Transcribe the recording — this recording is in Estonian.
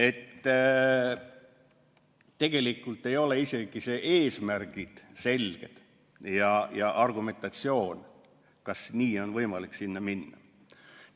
Et tegelikult ei ole isegi need eesmärgid selged ja argumentatsioon, kas nii on võimalik edasi minna.